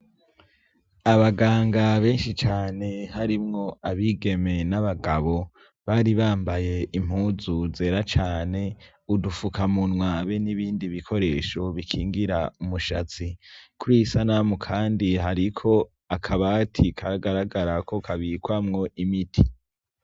Abaganga benshi cane harimwo abigeme n'abagabo bari bambaye impuzu zera cane, udufukamunwa be n'ibindi bikoresho bikingira umushatsi. Kur'iyisanamu kandi hariko akabati kagaragara ko kabikwamwo imiti.